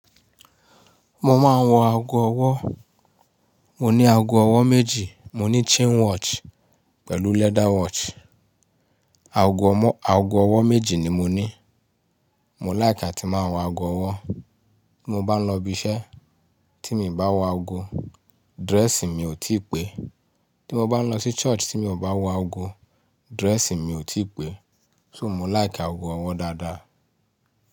Mo máa ń wọ ago ọwọ́. Mo ní ago ọwọ́ méjì, mo ní chain watch pẹ̀lú leather watch. Ago ọmọ, ago ọwọ́ méjì ni mo ní. Mo like a tí máa wọ ago ọwọ́. Bí mo bá ń lọ ibi iṣẹ́ tí mi ò bá wọ ago, dress mi ò tí pẹ́. Bí mo bá ń lọ sí church tí mi ò bá wọ ago, dress mi ò tí pẹ́. So mo like ago ọwọ́ dáadáa.